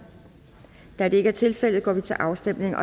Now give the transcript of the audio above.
da det ikke er tilfældet går vi til afstemning